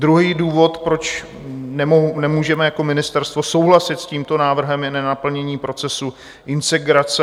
Druhý důvod, proč nemůžeme jako ministerstvo souhlasit s tímto návrhem, je nenaplnění procesu integrace.